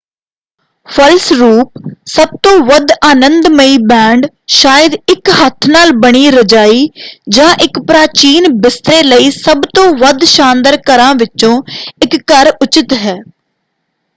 ਫਲਸਰੂਪ ਸਭ ਤੋਂ ਵੱਧ ਆਨੰਦਮਈ ਬੈੱਡ ਸ਼ਾਇਦ ਇੱਕ ਹੱਥ ਨਾਲ ਬਣੀ ਰਜਾਈ ਜਾਂ ਇੱਕ ਪ੍ਰਾਚੀਨ ਬਿਸਤਰੇ ਲਈ ਸਭ ਤੋਂ ਵੱਧ ਸ਼ਾਨਦਾਰ ਘਰਾਂ ਵਿੱਚੋਂ ਇੱਕ ਘਰ ਉਚਿਤ ਹੈ।